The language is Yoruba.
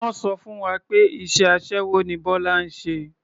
Wọ́n sọ fún wa pé iṣẹ́ aṣẹ́wó ni Bọ́lá ń ṣe.